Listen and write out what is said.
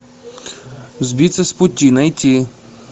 сбиться с пути найти